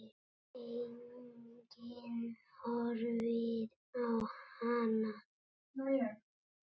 Enginn horfir á hana.